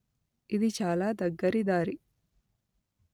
ఇది చాల దగ్గరి దారి